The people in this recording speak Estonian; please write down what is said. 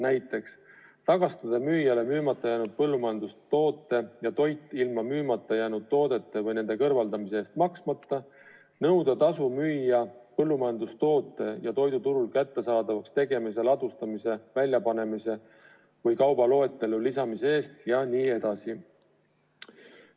Näiteks on keelatud tagastada müüjale müümata jäänud põllumajandustoode või toit ilma müümata jäänud toodete või nende kõrvaldamise eest maksmata, nõuda tasu müüja põllumajandustoote või toidu turul kättesaadavaks tegemise, ladustamise, väljapanemise või kaubaloetellu lisamise eest jne.